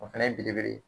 O fɛnɛ ye belebele ye